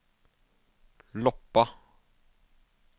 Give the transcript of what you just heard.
Loppa